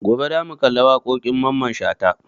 Gobe za mu kalli waƙoƙin Mamman Shata